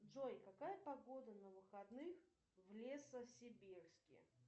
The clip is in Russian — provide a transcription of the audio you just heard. джой какая погода на выходных в лесосибирске